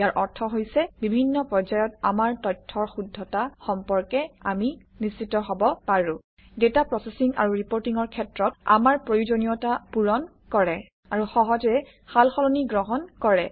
ইয়াৰ অৰ্থ হৈছে বিভিন্ন পৰ্যায়ত আমাৰ তথ্যৰ শুদ্ধতা সম্পৰ্কে আমি নিশ্চিত হব পাৰোঁ ডাটা প্ৰচেচিং আৰু ৰিপৰ্টিঙৰ ক্ষেত্ৰত আমাৰ প্ৰয়োজনীয়তা পূৰণ কৰে আৰু সহজে সাল সলনি গ্ৰহণ কৰে